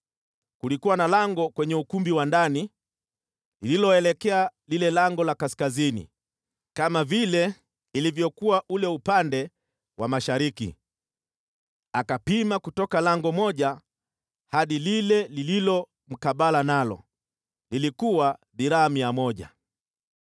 Kulikuwa na lango kwenye ukumbi wa ndani lililoelekea lile lango la kaskazini, kama vile ilivyokuwa ule upande wa mashariki. Akapima kutoka lango moja hadi lile lililo mkabala nalo, lilikuwa dhiraa mia moja.